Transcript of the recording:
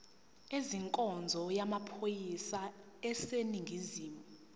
ezenkonzo yamaphoyisa aseningizimu